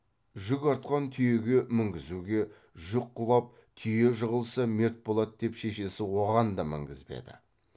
жүк артқан түйеге мінгізуге жүк құлап түйе жығылса мерт болады деп шешесі оған да мінгізбеді